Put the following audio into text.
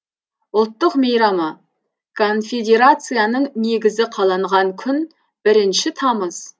ұлттық мейрамы конфедерацияның негізі қаланған күн бірінші тамыз